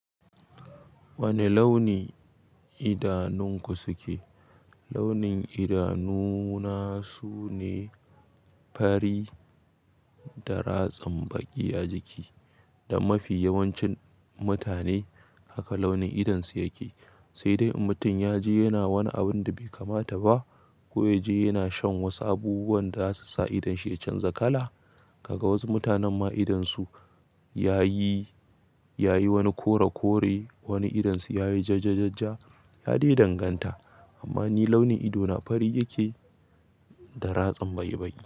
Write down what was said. Wani launi idanunku suke? Launin idanuna sune fari da ratsam baƙi a jiki. Da mafi yawancin mutane haka launin idonsu yake. Sai dai in mutum ya je yana wani abin da bai kamata ba ko ya je yana shan wasu abubuwan da zasu sa idonshi ya canza kala. Kaga wasu mutanen ma idonsu ya yi, ya yi wani kore kore, wani idonsu ya yi jajjajajja. Ya dai danganta. Amma ni launin idona fari yake da ratsam baƙi baƙi.